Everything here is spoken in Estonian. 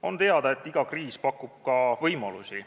On teada, et iga kriis pakub ka võimalusi.